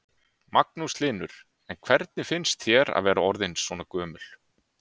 Magnús Hlynur: En hvernig finnst þér að vera orðin svona gömul?